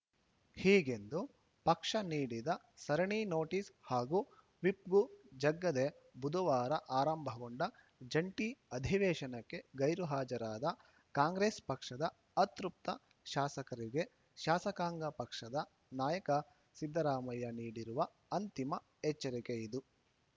ಹೀಗೆಂದು ಪಕ್ಷ ನೀಡಿದ ಸರಣಿ ನೋಟಿಸ್‌ ಹಾಗೂ ವಿಪ್‌ಗೂ ಜಗ್ಗದೆ ಬುಧವಾರ ಆರಂಭಗೊಂಡ ಜಂಟಿ ಅಧಿವೇಶನಕ್ಕೆ ಗೈರುಹಾಜರಾದ ಕಾಂಗ್ರೆಸ್‌ ಪಕ್ಷದ ಅತೃಪ್ತ ಶಾಸಕರಿಗೆ ಶಾಸಕಾಂಗ ಪಕ್ಷದ ನಾಯಕ ಸಿದ್ದರಾಮಯ್ಯ ನೀಡಿರುವ ಅಂತಿಮ ಎಚ್ಚರಿಕೆಯಿದು